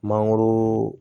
Mangoro